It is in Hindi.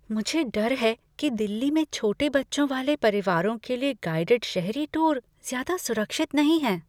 मुझे डर है कि दिल्ली में छोटे बच्चों वाले परिवारों के लिए गाइडिड शहरी टूर ज्यादा सुरक्षित नहीं हैं।